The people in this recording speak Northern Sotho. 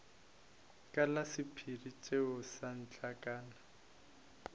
ka la sephiri tšea setlankana